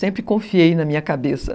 Sempre confiei na minha cabeça.